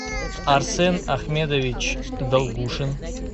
арсен ахмедович долгушин